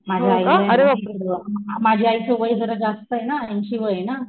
माझ्या आईला नामाझ्या आईच वय जरा जास्तय ना ऐंशी वय ना